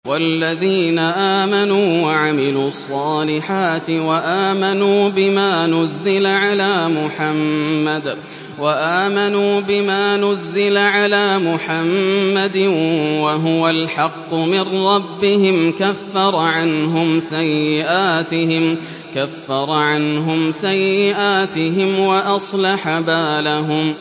وَالَّذِينَ آمَنُوا وَعَمِلُوا الصَّالِحَاتِ وَآمَنُوا بِمَا نُزِّلَ عَلَىٰ مُحَمَّدٍ وَهُوَ الْحَقُّ مِن رَّبِّهِمْ ۙ كَفَّرَ عَنْهُمْ سَيِّئَاتِهِمْ وَأَصْلَحَ بَالَهُمْ